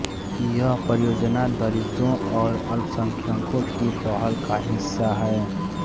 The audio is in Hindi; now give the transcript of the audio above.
यह परियोजना दलितों और अल्पसंख्यकों की पहल का हिस्सा है